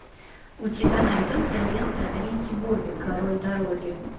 у тебя найдется лента рики бобби король дороги